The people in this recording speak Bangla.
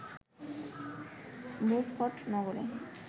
ভোজকট নগরে